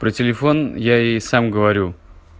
про телефон я ей сам говорю